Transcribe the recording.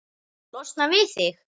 Losna við þig?